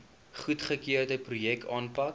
goedgekeurde projekte aanpak